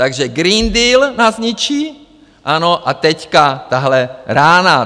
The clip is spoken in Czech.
Takže Green Deal nás zničí, ano, a teď tahle rána.